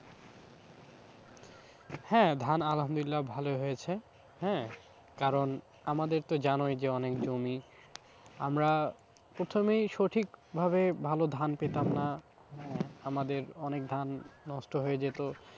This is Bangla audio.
হ্যাঁ, ধান আলহামদুল্লিয়া ভালো হয়েছে হ্যাঁ, কারণ আমাদের তো জানোই যে অনেক জমি আমরা প্রথমেই সঠিকভাবে ভালো ধান পেতাম না আহ আমাদের অনেক ধান নষ্ট হয়ে যেত।